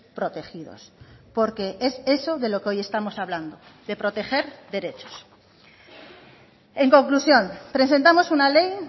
protegidos porque es eso de lo que hoy estamos hablando de proteger derechos en conclusión presentamos una ley